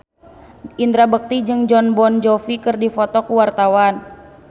Indra Bekti jeung Jon Bon Jovi keur dipoto ku wartawan